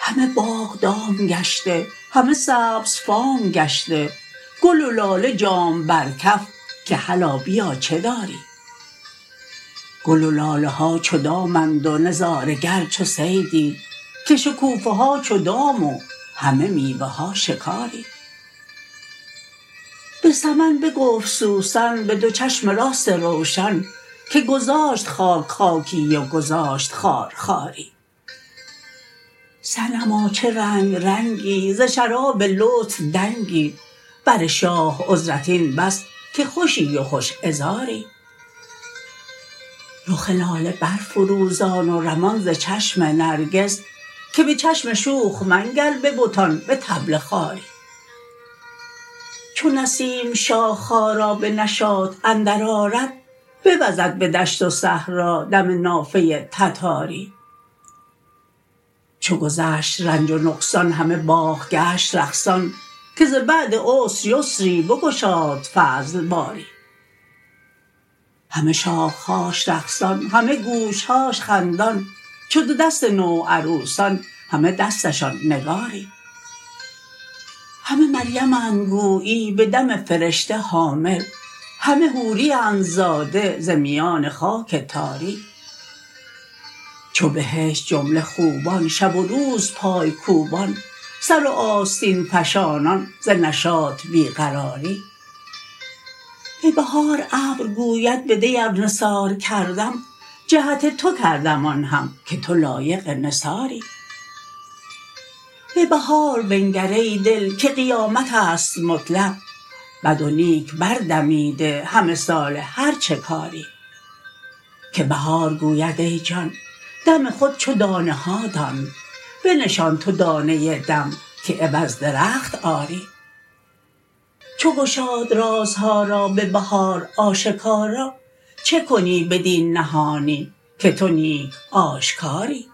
همه باغ دام گشته همه سبزفام گشته گل و لاله جام بر کف که هلا بیا چه داری گل و لاله ها چو دام اند و نظاره گر چو صیدی که شکوفه ها چو دام و همه میوه ها شکاری به سمن بگفت سوسن به دو چشم راست روشن که گذاشت خاک خاکی و گذاشت خار خاری صنما چه رنگ رنگی ز شراب لطف دنگی بر شاه عذرت این بس که خوشی و خوش عذاری رخ لاله برفروزان و رمان ز چشم نرگس که به چشم شوخ منگر به بتان به طبل خواری چو نسیم شاخه ها را به نشاط اندرآرد بوزد به دشت و صحرا دم نافه تتاری چو گذشت رنج و نقصان همه باغ گشت رقصان که ز بعد عسر یسری بگشاد فضل باری همه شاخه هاش رقصان همه گوشه هاش خندان چو دو دست نوعروسان همه دستشان نگاری همه مریمند گویی به دم فرشته حامل همه حوریند زاده ز میان خاک تاری چو بهشت جمله خوبان شب و روز پای کوبان سر و آستین فشانان ز نشاط بی قراری به بهار ابر گوید بدی ار نثار کردم جهت تو کردم آن هم که تو لایق نثاری به بهار بنگر ای دل که قیامت است مطلق بد و نیک بردمیده همه ساله هر چه کاری که بهار گوید ای جان دم خود چو دانه ها دان بنشان تو دانه دم که عوض درخت آری چو گشاد رازها را به بهار آشکارا چه کنی بدین نهانی که تو نیک آشکاری